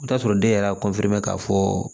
I bi t'a sɔrɔ den yɛrɛ y'a k'a fɔ